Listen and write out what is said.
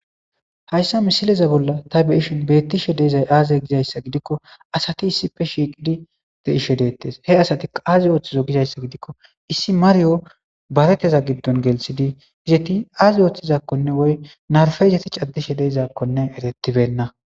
Hayssa misileza bolla ta beishin beettishe deizay aaze gizayssa gidikko asati issife shiiqidi deishe deettes he asati qaaze ooththizo gizayssa gidikko issi maryo bareteza giddon geltsidi hizetti aazi ooththizakkonne woy narfe izeticaddishe deizakkone eretibenna.